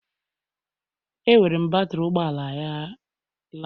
Ewere m batrị ụgbọ ala ya laa